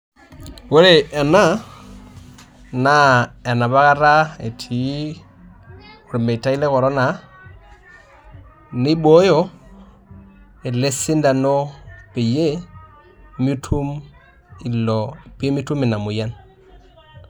Ore ena naa enapakata etii ormetai le korona, nibooyo elesindano peyie mitum pemitum inamoyian.